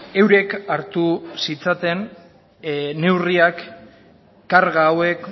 eurek hartu zitzaten neurriak karga hauek